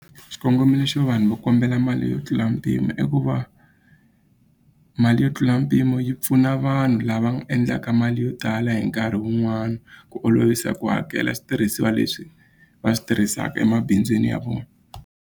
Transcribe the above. Xikongomelo xo vanhu va kombela mali yo tlula mpimo i ku va mali yo tlula mpimo yi pfuna vanhu lava endlaka mali yo tala hi nkarhi wun'wani ku olovisa ku hakela switirhisiwa leswi va swi tirhisaka emabindzwini ya vona.